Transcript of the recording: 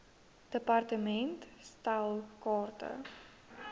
department stel kaarte